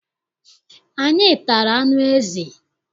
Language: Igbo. Anyị tara anụ ezi.